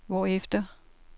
hvorefter